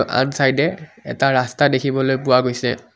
আন চাইডে এটা ৰাস্তা দেখিবলৈ পোৱা গৈছে।